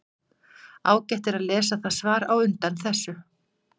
Ágætt er að lesa það svar á undan þessu.